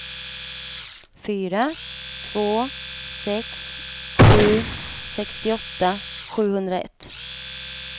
fyra två sex sju sextioåtta sjuhundraett